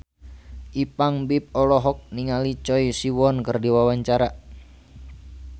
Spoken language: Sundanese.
Ipank BIP olohok ningali Choi Siwon keur diwawancara